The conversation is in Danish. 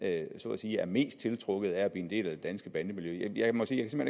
er mest tiltrukket af at blive en del af det danske bandemiljø jeg må sige